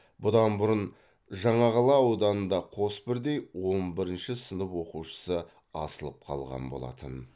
бұдан бұрын жаңақала ауданында қос бірдей он бірінші сынып оқушысы асылып қалған болатын